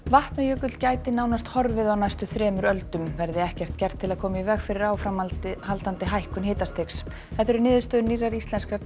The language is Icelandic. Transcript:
Vatnajökull gæti nánast horfið á næstu þremur öldum verði ekkert gert til að koma í veg fyrir áframhaldandi hækkun hitastigs þetta eru niðurstöður nýrrar íslenskrar